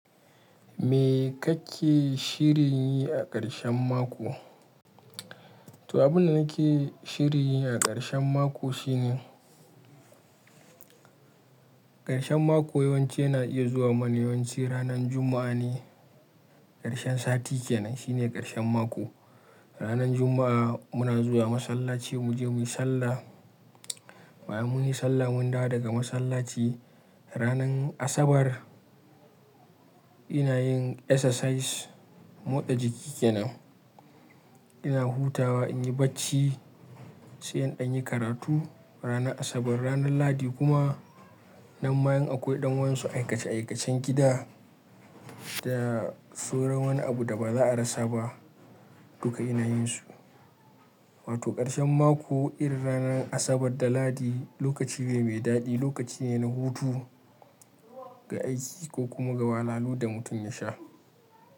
Me kake shirin yi a karshen mako to abin da nake shirin yi a ƙarshen mako shine, ƙarshen mako yawanci yana iya zuwa mana yawanci ranan Juma'a ne. Ƙarshen sati kenan shine ƙarshen mako. Ranan Juma'a muna zuwa masallaci mu je mu yi sallah. Bayan mun yi sallah mun dawo daga masallaci. Ranan Asabar ina yin exercise, motsa jiki kenan. Ina hutawa in yi bacci sai in ɗan yi karatu ranar Asabar. Ranan lahadi kuma, nan ma in akwai dan wadansu aikace-aikacen gida da sauran wani abu da ba za a rasa ba duka ina yin su. Wato ƙarshen mako irin ranan Asabar da Lahadi lokaci ne mai daɗi, lokaci ne na hutu ga ais ko kuma wahalhalu da mutum yasha.